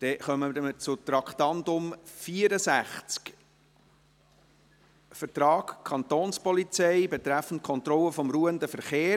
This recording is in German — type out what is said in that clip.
Wir kommen zu Traktandum 64, Vertrag Kantonspolizei betreffend Kontrolle des ruhenden Verkehrs.